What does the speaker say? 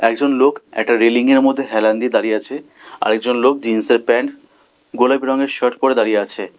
একজন লোক একটা রেলিংয়ের মধ্যে হেলান দিয়ে দাঁড়িয়ে আছে আরেকজন লোক জিন্সের প্যান্ট গোলাপি রংয়ের শার্ট পরে দাঁড়িয়ে আছে।